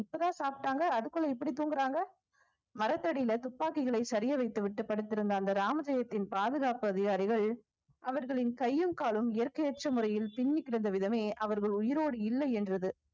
இப்பதான் சாப்பிட்டாங்க அதுக்குள்ள இப்படி தூங்குறாங்க மரத்தடியில துப்பாக்கிகளை சரியா வைத்துவிட்டு படுத்திருந்த அந்த ராமஜெயத்தின் பாதுகாப்பு அதிகாரிகள் அவர்களின் கையும் காலும் இயற்கையற்ற முறையில் பின்னி கெடந்த விதமே அவர்கள் உயிரோடு இல்லை என்றது